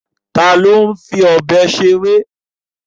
Ta ni ó ń fi ọ̀bẹ seré?